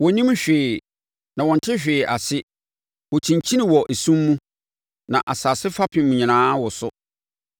“Wɔnnim hwee, na wɔnte hwee ase. Wɔkyinkyini wɔ esum mu; na asase fapem nyinaa woso.